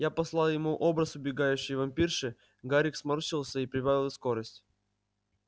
я послал ему образ убегающей вампирши гарик сморщился и прибавил скорость